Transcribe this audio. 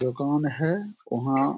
ये कौन है वहां।